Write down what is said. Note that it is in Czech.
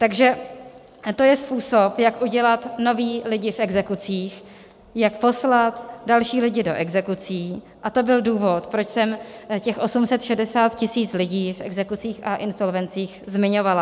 Takže to je způsob, jak udělat nové lidi v exekucích, jak poslat další lidi do exekucí, a to byl důvod, proč jsem těch 860 tisíc lidí v exekucích a insolvencích zmiňovala.